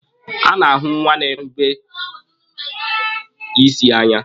Nna na-ahụ nwa ya ga-erube isi n'anya.